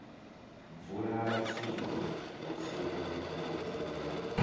bvula matsilu vhutsilu lu bvula